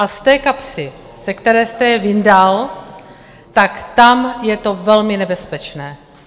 A z té kapsy, ze které jste je vyndal, tak tam je to velmi nebezpečné.